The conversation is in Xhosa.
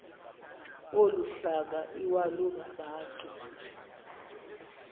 olu hlanga iwalungabantu